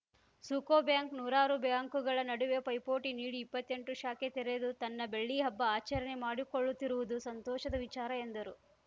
ಸುಕೋಬ್ಯಾಂಕ್‌ ನೂರಾರು ಬ್ಯಾಂಕುಗಳ ನಡುವೆ ಪೈಪೋಟಿ ನೀಡಿ ಇಪ್ಪತ್ತೆಂಟು ಶಾಖೆ ತೆರೆದು ತನ್ನ ಬೆಳ್ಳಿ ಹಬ್ಬ ಆಚರಣೆ ಮಾಡಿಕೊಳ್ಳುತ್ತಿರುವುದು ಸಂತೋಷದ ವಿಚಾರ ಎಂದರು